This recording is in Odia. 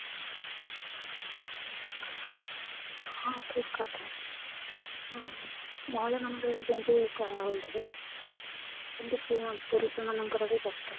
ହଁ , ଠିକ କଥା ଉଁ ମହିଳା ମାନ ଙ୍କର ଯେମିତି କରା ହଉଚି ସେମିତି ପୁ ପୁରୁଷ ମାନ ଙ୍କର ବି ଦରକାର